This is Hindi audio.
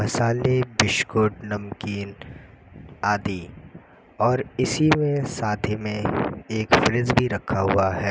मसाले बिस्कुट नमकीन आदि और इसी में साथ ही में एक फ्रिज भी रखा हुआ है।